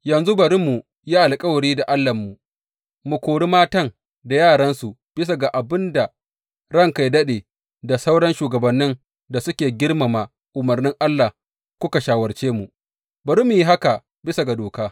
Yanzu bari mu yi alkawari da Allahnmu, mu kori matan da yaransu bisa ga abin da ranka yă daɗe da sauran shugabannin da kuke girmama umarnin Allah kuka shawarce mu, bari mu yi haka bisa ga doka.